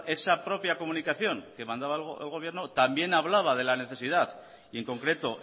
pero bueno esa propia comunicación que mandaba el gobierno también hablaba de la necesidad y en concreto